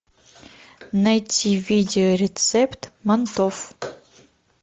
найти видео рецепт мантов